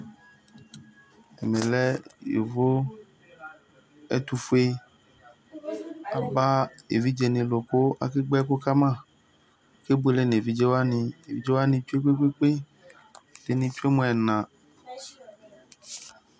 ɛtufue aluɛdɩnɩ aba evidze dɩnɩ lu kʊ akagbǝ ɛkʊkama, akebuele nʊ evidzewanɩ, evidzewani tsue kpekpekpe, ɛdɩnɩ dʊ mʊ ɛna